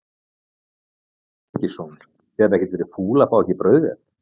Símon Birgisson: Þið hafið ekkert verið fúl að fá ekki brauðvél?